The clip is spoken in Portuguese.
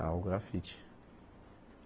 Ao grafite.